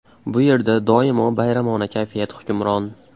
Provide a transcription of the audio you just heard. Bu yerda doimo bayramona kayfiyat hukmron .